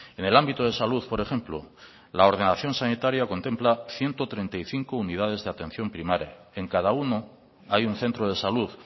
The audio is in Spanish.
en el ámbito de salud por ejemplo la ordenación sanitaria contempla ciento treinta y cinco unidades de atención primaria en cada uno hay un centro de salud